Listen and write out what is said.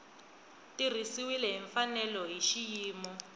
tirhisiwile hi mfanelo hi xiyimo